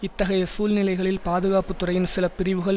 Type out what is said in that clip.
இத்தகைய சூழ்நிலைகளில் பாதுகாப்புத்துறையின் சில பிரிவுகள்